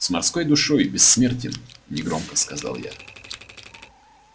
с морской душой бессмертен негромко сказал я